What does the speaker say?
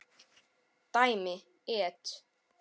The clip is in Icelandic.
Dæmi: et.